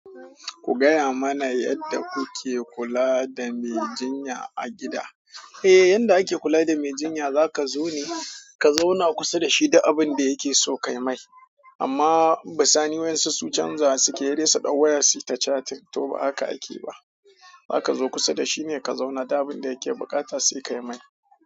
Ku gaya mana yadda kuke kula da me jinya a gida. Eh, yarda ake kula da me jinya zaka zo ne ka zauna kusa da shi du abin da yake so kai mai. Amma bisani waƴansu su canza suke yi se dai suɗau waya suyi ta chating, to ba haka akeyi ba. Haka zo kusa da shine ka zauna du abun da yake buƙata sai kai mai.